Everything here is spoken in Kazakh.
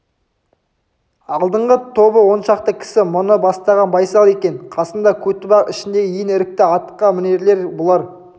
алдыңғы тобы он шақты кісі мұны бастаған байсал екен қасында көтібақ ішіндегі ең ірікті атқамінерлер бұлар